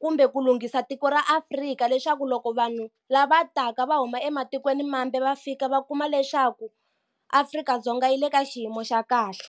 kumbe ku lunghisa tiko ra Afrika leswaku loko vanhu lava taka va huma ematikweni mambe va fika va kuma leswaku Afrika-Dzonga yi le ka xiyimo xa kahle.